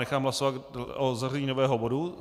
Nechám hlasovat o zařazení nového bodu.